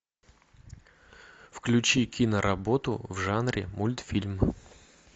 включи киноработу в жанре мультфильм